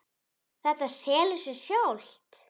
Þetta selur sig sjálft.